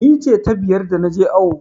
Ni ce ta biyar da na je awo.